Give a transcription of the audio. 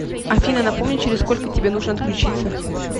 афина напомни через сколько тебе нужно отключиться